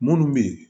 Munnu be yen